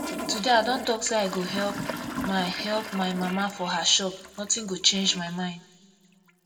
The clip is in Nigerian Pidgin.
today i don talk say i go help my help my mama for her shop nothing go change my mind